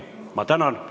Ma tänan!